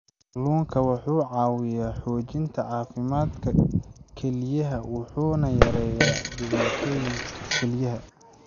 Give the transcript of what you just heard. Kalluunku wuxuu caawiyaa xoojinta caafimaadka kelyaha wuxuuna yareeyaa dhibaatooyinka kelyaha.